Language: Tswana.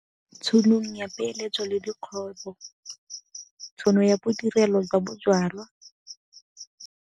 Tsholong ya peeletso le dikgwebo, tšhono ya bodirelo jwa bojalwa.